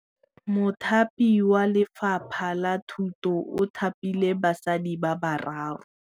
Mothapi wa Lefapha la Thutô o thapile basadi ba ba raro.